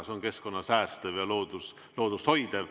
See on keskkonda säästev ja loodust hoidev.